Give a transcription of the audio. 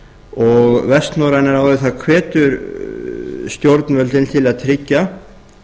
og vestnorræna ráðið hefur stjórnvöldin til að tryggja